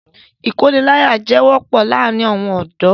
Ìkóniláyàjẹ wọ́pọ̀ láàrin àwọn ọ̀dọ́.